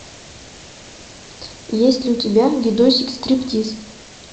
есть ли у тебя видосик стриптиз